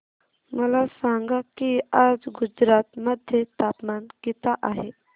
मला सांगा की आज गुजरात मध्ये तापमान किता आहे